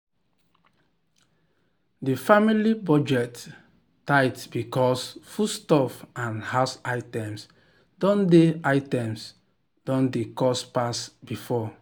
the family budget tight because foodstuff and house items don dey items don dey cost pass before.